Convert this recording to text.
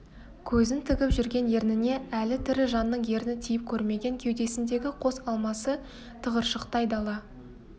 көзін тігіп жүрген ерніне әлі тірі жанның ерні тиіп көрмеген кеудесіндегі қос алмасы тығыршықтай дала